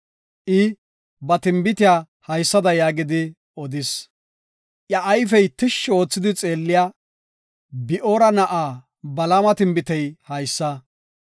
I ba tinbitiya haysada yaagidi odis; “Iya ayfey tishshi oothidi xeelliya, Bi7oora na7aa Balaama tinbitey haysa.